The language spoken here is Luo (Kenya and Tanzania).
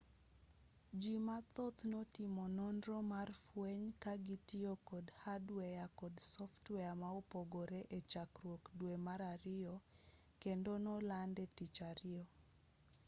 jii mathoth notimo nonro mar fweny kagitiyo kod hadweya kod softweya maopogore echakruok dwe mar ariyo kendo nolande tich ariyo